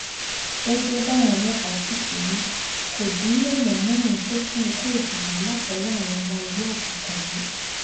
gẹgẹ báwọn ọlọpàá sì ti wí kó dín léèyàn mẹrin tó kú ikú òjijì látọwọ àwọn ọmọ ẹgbẹ òkùnkùn yìí